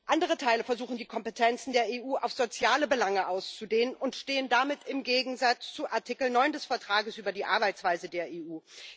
Andere Teile versuchen, die Kompetenzen der EU auf soziale Belange auszudehnen, und stehen damit im Gegensatz zu Artikel 9 des Vertrages über die Arbeitsweise der EU.